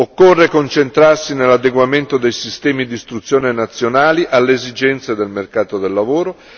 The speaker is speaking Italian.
Occorre concentrarsi sull'adeguamento dei sistemi di istruzione nazionali alle esigenze del mercato del lavoro.